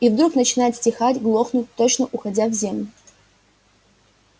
и вдруг начинает стихать глохнуть точно уходя в землю